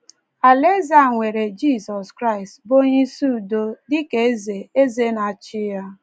Alaeze a nwere Jizọs Kraịst, bụ́ Onyeisi Udo, dị ka Eze Eze na - achị ya.